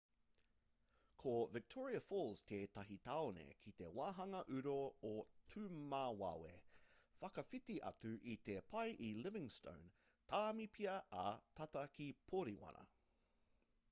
ko victoria falls tētahi tāone ki te wāhanga uru o timuwawe whakawhiti atu i te pae i livingstone tāmipia ā tata ki poriwana